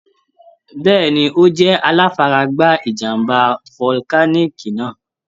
Bẹ́ẹ̀ni. Ó jẹ́ aláfaragbá ìjàm̀bá volcanic náà.